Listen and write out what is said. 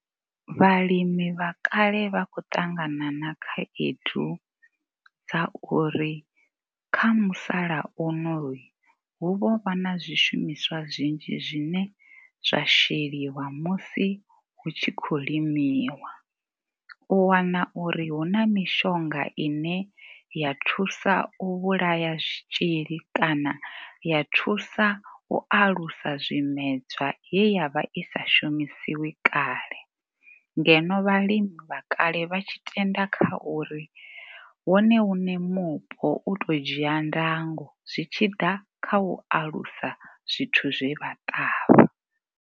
Vhalimi vha kale vha khou ṱangana na khaedu dza uri kha musalauno hu vho vha na zwishumiswa zwinzhi zwine zwa sheliwa musi hu tshi khou limiwa. U wana uri hu na mishonga i ne ya thusa u vhulaya zwitzhili kana ya thusa u alusa zwimedzwa ye ya vha i sa shumisiwi kale. Ngeno vhalimi vha kale vha tshi tenda kha uri wone muṋe mupo u tou dzia ndango zwi tshi ḓa kha u alusa zwithu zwe vha ṱavha.